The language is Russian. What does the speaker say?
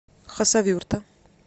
хасавюрта